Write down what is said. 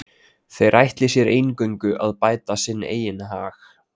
Þeir ætli sér eingöngu að bæta sinn eigin hag.